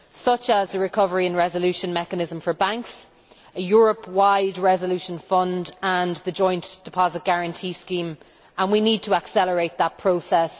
such as the recovery in resolution mechanism for banks, a Europe wide resolution fund and the joint deposit guarantee scheme, and we need to accelerate that process.